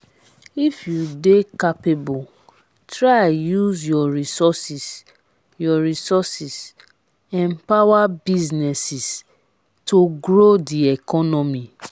if you de capable try use your resources your resources empower businesses to grow di economy